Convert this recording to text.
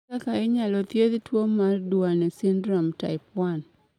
Ere kaka inyalo thiedh tuwo mar Duane syndrome type 1?